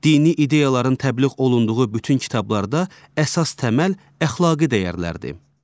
Dini ideyaların təbliğ olunduğu bütün kitablarda əsas təməl əxlaqi dəyərlərdir.